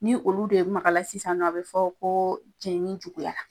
Ni olu de makala sisan a be fɔ ko jenini juguya la.